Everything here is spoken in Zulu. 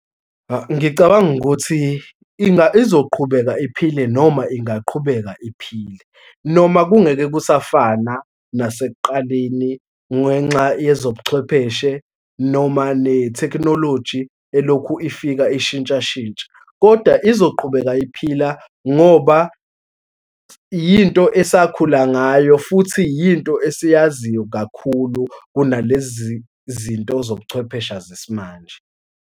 Ngicabanga ukuthi izoqhubeka iphile noma ingaqhubeka iphile, noma kungeke kusafana nasekuqaleni ngenxa yezobuchwepheshe noma netekhnoloji elokhu ifika ishintshashintsha, koda izoqhubeka iphila ngoba yinto esakhula ngayo, futhi yinto esiyaziyo kakhulu kunalezizinto zobuchwephesha zesimanje.